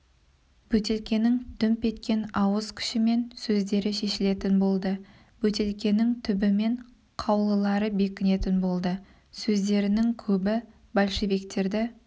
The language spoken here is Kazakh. бөтелкенің дүмп еткен ауыз күшімен сөздері шешілетін болды бөтелкенің түбімен қаулылары бекінетін болды сөздерінің көбі большевиктерді